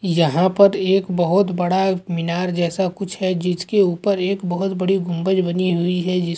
यहाँ पर एक बोहोत बड़ा मीनार जैसा कुछ है जिसके ऊपर एक बोहोत बड़ी गुम्बज बनी हुई है जिस --